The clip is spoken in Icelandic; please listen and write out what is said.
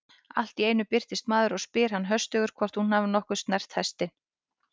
Allt í einu birtist maður og spyr hana höstugur hvort hún hafi nokkuð snert hestinn.